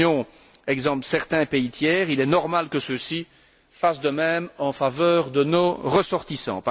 Si l'Union exempte certains pays tiers, il est normal que ceux ci fassent de même en faveur de nos ressortissants.